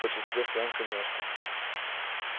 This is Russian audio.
в большинстве своём конечно